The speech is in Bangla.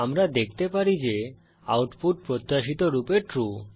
আমরা দেখতে পারি যে আউটপুট প্রত্যাশিত রূপে ট্রু